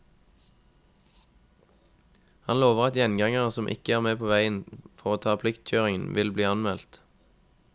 Han lover at gjengangere som ikke er på veien for å ta pliktkjøringen, vil bli anmeldt.